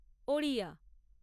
Odia